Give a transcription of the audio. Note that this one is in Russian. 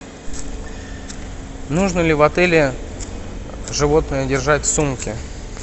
нужно ли в отеле животное держать в сумке